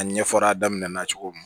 A ɲɛfɔra a daminɛ na cogo min